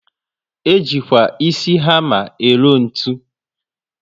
Ejikwa ísì hama ero ntụ